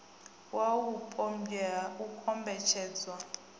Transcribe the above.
wau vhupombwe ha u kombetshedzwa